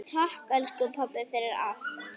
Takk, elsku pabbi, fyrir allt.